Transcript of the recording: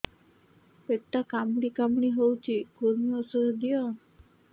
ପେଟ କାମୁଡି କାମୁଡି ହଉଚି କୂର୍ମୀ ଔଷଧ ଦିଅ